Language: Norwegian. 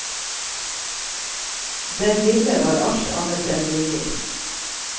Den lille var alt annet enn villig.